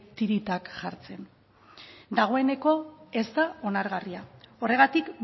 tiritak jartzen dagoeneko ez da onargarria horregatik